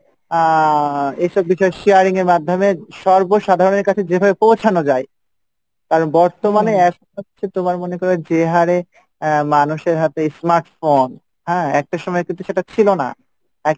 আহ এইসব বিষয়ে sharing এর মাধ্যমে সর্ব সাধারনের কাছে যেভাবে পৌঁছানো যাই কারণ বর্তমানে এখন হচ্ছে তোমার মনে করো যে হারে আহ মানুষের হাতে smartphone, হ্যাঁ? একটা সময় কিন্তু সেটা ছিলো না। একটা